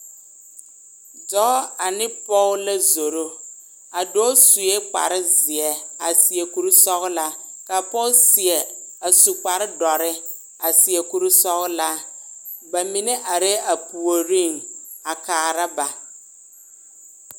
Dɔɔ ane pɔge la zoro, a dɔɔ sue kpare zeɛ a seɛ kuri sɔgelaa ka a pɔge seɛ a su kpare dɔre a seɛ kuri sɔgelaa, bamine arɛɛ a puoriŋ a kaara ba.